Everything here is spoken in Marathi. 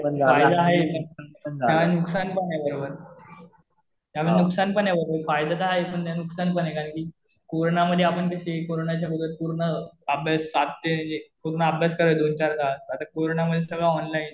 फायदा आहे पण नुकसान पण आहे त्याबरोबर. त्यानं नुकसान पण आहे. फायदा तर आहे. पण त्यानं नुकसान पण आहे. कारण कि कोरोना मध्ये कसे आपण कोरोनाच्या अगोदर पूर्ण अभ्यास सात ते एक पूर्ण अभ्यास करायचो दोन चार तास, आता करोना मध्ये सगळं ऑनलाइन